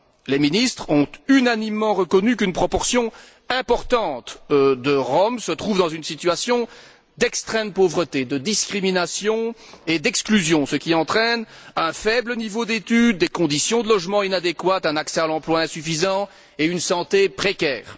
Les ministres ont unanimement reconnu qu'une proportion importante de Roms se trouve dans une situation d'extrême pauvreté, de discrimination et d'exclusion, ce qui entraîne un faible niveau d'études, des conditions de logement inadéquates, un accès à l'emploi insuffisant et une santé précaire.